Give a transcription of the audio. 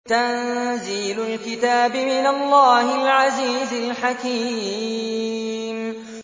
تَنزِيلُ الْكِتَابِ مِنَ اللَّهِ الْعَزِيزِ الْحَكِيمِ